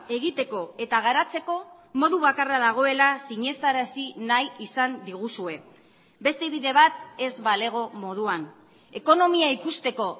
egiteko eta garatzeko modu bakarra dagoela sinestarazi nahi izan diguzue beste bide bat ez balego moduan ekonomia ikusteko